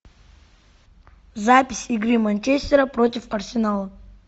запись игры манчестера против арсенала